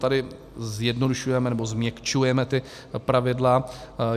Tady zjednodušujeme, nebo změkčujeme ta pravidla.